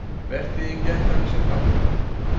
Vertíðin gekk þannig sinn gang.